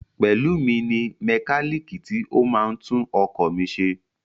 Pelumi ni mẹkálíìkì tí ó máa ń tún ọkọ̀ mi ṣe.